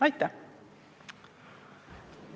Aitäh!